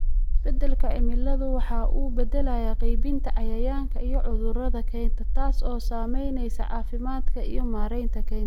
Isbeddelka cimiladu waxa uu beddelayaa qaybinta cayayaanka iyo cudurrada kaynta, taas oo saamaynaysa caafimaadka iyo maaraynta kaynta.